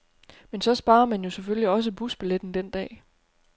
Men så sparer man jo selvfølgelig også busbilletten den dag.